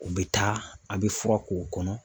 U bɛ taa ,a bɛ fura k'u kɔnɔ.